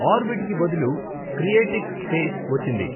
Orbit కి బదులు క్రియేటిక్ స్పేస్ వచ్చింది.